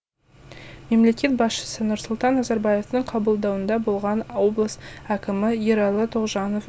мемлекет басшысы нұрсұлтан назарбаевтың қабылдауында болған облыс әкімі ералы тоғжанов